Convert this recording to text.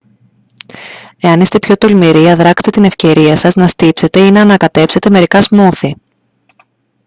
εάν είστε πιο τολμηροί αδράξτε την ευκαιρία σας να στύψετε ή να ανακατέψετε μερικά σμούθι